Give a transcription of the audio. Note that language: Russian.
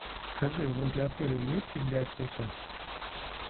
скажи возле отеля есть библиотека